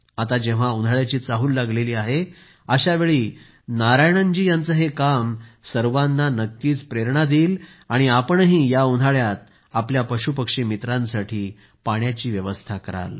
आता जेव्हा उन्हाळ्याची चाहूल लागली आहे अशावेळी नारायणन जी यांचे हे काम सर्वांना नक्कीच प्रेरणा देईल आणि आपणही या उन्हाळयात आपल्या पशुपक्षी मित्रांसाठी पाण्याची व्यवस्था कराल